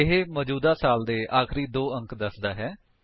ਇਹ ਮੌਜੂਦਾ ਸਾਲ ਦੇ ਆਖਰੀ ਦੋ ਅੰਕ ਦੱਸਦਾ ਹੈ